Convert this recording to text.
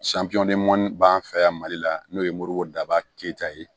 b'an fɛ yan mali la n'o ye moribo daba keta ye